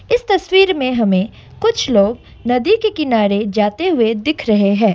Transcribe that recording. इस तस्वीर में हमें कुछ लोग नदी के किनारे जाते हुए दिख रहे हैं।